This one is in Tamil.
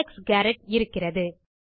அலெக்ஸ் காரெட் இருக்கிறது